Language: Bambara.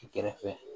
Kɛrɛfɛ